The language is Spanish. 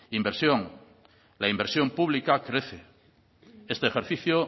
inversión la inversión pública crece este ejercicio